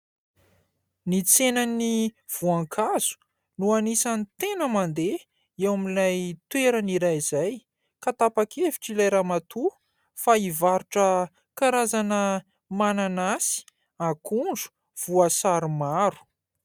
Ny tsenan'ny voankazo no anisany tena mandeha eo amin'ilay toerana iray izay ka tapak-hevitra ilay ramatoa fa hivarotra karazana mananasy, akondro, voasary maro.